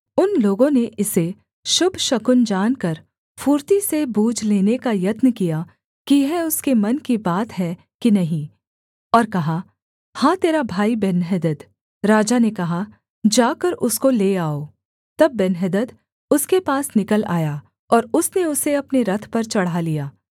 उन लोगों ने इसे शुभ शकुन जानकर फुर्ती से बूझ लेने का यत्न किया कि यह उसके मन की बात है कि नहीं और कहा हाँ तेरा भाई बेन्हदद राजा ने कहा जाकर उसको ले आओ तब बेन्हदद उसके पास निकल आया और उसने उसे अपने रथ पर चढ़ा लिया